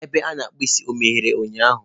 Ebe a na-akpụ isi emeghere ụnyahụ?